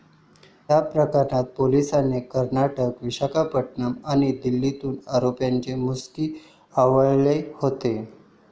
या प्रकरणात पोलिसांनी कर्नाटक, विशाखापट्टणम आणि दिल्लीतून आरोपींच्या मुसक्या आवळल्या होत्या.